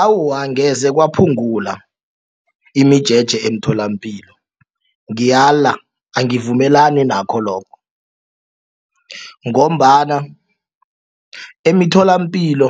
Awa, angeze kwaphungula imijeje emtholapilo ngiyala angivumelani nakho lokho. Ngombana emitholapilo